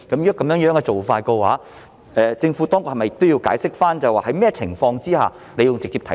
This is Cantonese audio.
如果這樣做，政府當局是否也要解釋，在甚麼情況之下要直接提述？